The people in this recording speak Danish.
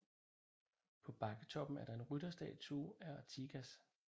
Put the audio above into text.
På bakketoppen er der en rytterstatue af Artigas